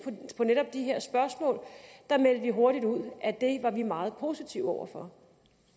på netop de her spørgsmål da meldte vi hurtigt ud at det var vi meget positive over for